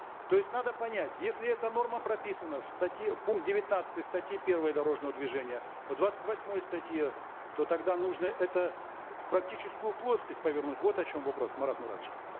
то есть надо понять если эта норма прописана в статье пункт девятнадцатый статьи первой дорожного движения в двадцать восьмой статье то тогда нужно это в практическую плоскость повернуть вот о чем вопрос марат муратович